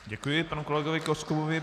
Děkuji panu kolegovi Koskubovi.